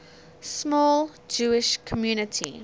small jewish community